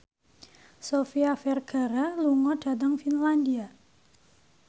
Sofia Vergara lunga dhateng Finlandia